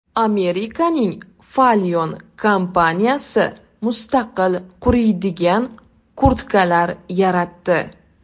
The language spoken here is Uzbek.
Amerikaning Falyon kompaniyasi mustaqil quriydigan kurtkalar yaratdi.